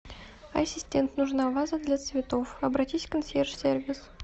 ассистент нужна ваза для цветов обратись в консьерж сервис